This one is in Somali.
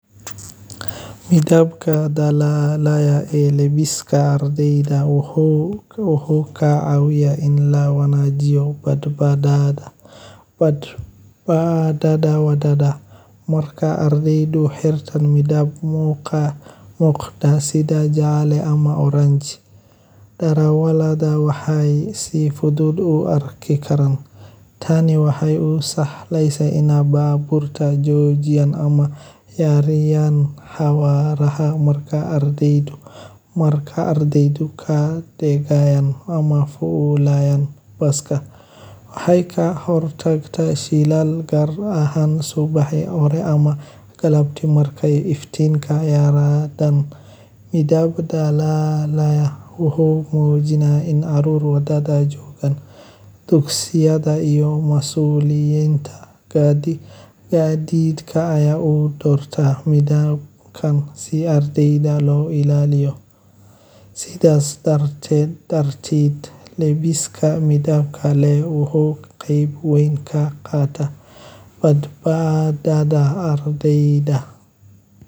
Midabka dalagyada ee labiska ardeyda wuxuu leeyahay muhiimad gaar ah oo la xiriirta kala soocidda dugsiyada, nidaamka, iyo muujinta aqoonsiga ardeyda. Inta badan dugsiyada waxay doortaan midabyo gaar ah oo matala sumcaddooda, anshaxa, iyo nidaamka waxbarasho ee ay ku dhaqmaan. Midabadaas waxay sidoo kale ka qeyb qaataan abuurista isku ekaansho iyo sinaan ardeyda dhexdooda ah, taasoo meesha ka saarta tartanka dhanka labiska ah iyo farqiga dhaqaale.